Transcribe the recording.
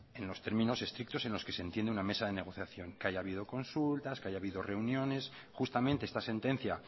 en los términos estrictos en los que se entiende una mesa de negociación que haya habido consultas que haya habido reuniones justamente esta sentencia